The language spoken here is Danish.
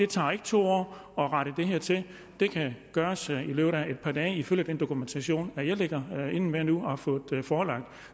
tager to år at rette det her til det kan gøres i løbet af et par dage ifølge den dokumentation jeg ligger inde med nu og har fået forelagt